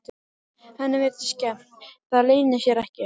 Henni virðist skemmt, það leynir sér ekki.